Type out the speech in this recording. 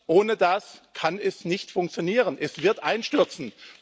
Ohne das kann es nicht funktionieren, es wird einstürzen.